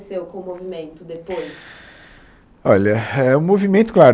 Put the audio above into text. com o movimento depois? Olha, hé, o movimento claro